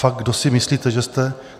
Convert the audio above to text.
Fakt kdo si myslíte, že jste?